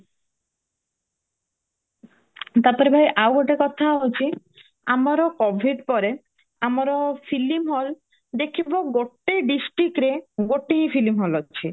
ତାପରେ ଭାଇ ଆଉ ଗୋଟେ କଥା ହଉଚି ଆମର covid ପରେ ଆମର film hall ଦେଖିବ ଗୋଟେ districtରେ ଗୋଟେ ହି filmy hall ଅଛି